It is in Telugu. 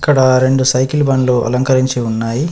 ఇక్కడ రెండు సైకిల్ బండ్లు అలంకరించి ఉన్నాయి.